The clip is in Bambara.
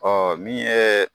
Ɔ min yee